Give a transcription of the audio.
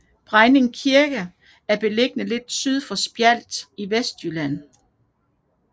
Brejning Kirke er beliggende lidt syd for Spjald i Vestjylland